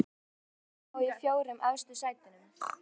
Hvaða lið viltu sjá í fjórum efstu sætunum?